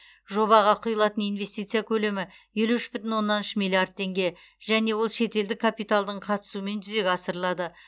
жобаға құйылатын инвестиция көлемі елу үш бүтін оннан үш миллиард теңге және ол шетелдік капиталдың қатысуымен жүзеге асырылады